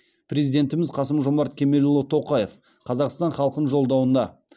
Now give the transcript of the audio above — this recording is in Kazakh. президентіміз қасым жомарт кемелұлы тоқаев қазақстан халқын жолдауында